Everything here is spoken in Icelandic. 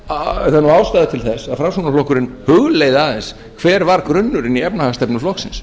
því ástæða til þess að framsóknarflokkurinn hugleiði aðeins hver var grunnurinn í efnahagsstefnu flokksins